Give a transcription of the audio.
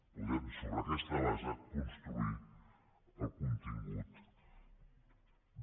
podem sobre aquesta base construir el contingut de